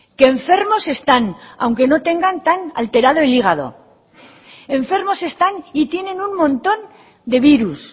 que enfermos están aunque no tengan tan alterado el hígado enfermos están y tienen un montón de virus